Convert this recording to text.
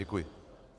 Děkuji.